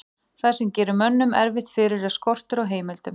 það sem gerir mönnum erfitt fyrir er skortur á heimildum